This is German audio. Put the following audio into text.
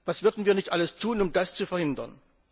Was würden wir nicht alles tun, um das zu verhindern?